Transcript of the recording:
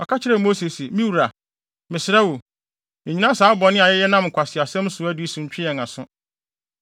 ɔka kyerɛɛ Mose se, “Me wura, mesrɛ wo, nnyina saa bɔne a yɛnam nkwaseasɛm so adi yi so ntwe yɛn aso.